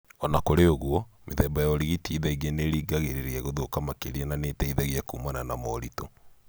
Ona kũrĩ ũguo, mĩthemba ya ũrigiti thaingĩ nĩ ĩrĩngagĩrĩria gũthũka makĩria na nĩ ĩteithagia kumana na moritũ